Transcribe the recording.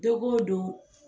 Don o don